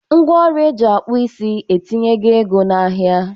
Ngwa ọrụ eji akpụ isi etinyego ego na-ahia.